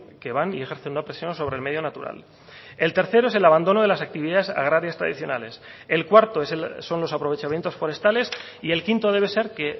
que van y ejercen una presión sobre el medio natural el tercero es el abandono de las actividades agrarias tradicionales el cuarto son los aprovechamientos forestales y el quinto debe ser que